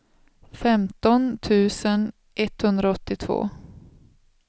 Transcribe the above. femton tusen etthundraåttiotvå